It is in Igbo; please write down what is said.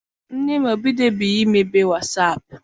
Nne m ebidobeghi mebe wasaapụ.